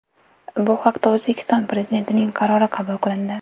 Bu haqda O‘zbekiston Prezidentining qarori qabul qilindi .